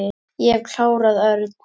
Ég hef klárað Örn.